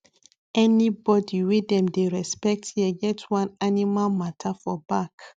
anybody wey dem dey respect here get one animal matter for back